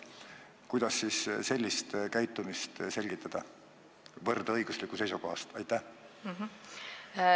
Kuidas sellist käitumist võrdõiguslikkuse seisukohalt selgitada?